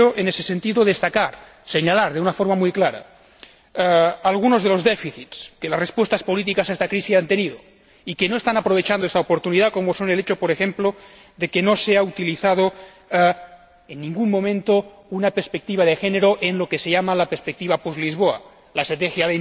Quiero, en ese sentido, destacar, señalar de una forma muy clara algunos de los déficits que las respuestas políticas a esta crisis han tenido y que no están aprovechando esta oportunidad, como son el hecho, por ejemplo, de que no se ha utilizado en ningún momento una perspectiva de género en lo que se llama la perspectiva post Lisboa, la Estrategia